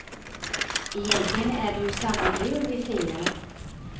Egentligen är det ju samma jul vi firar.